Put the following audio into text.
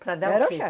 Para dar o quê?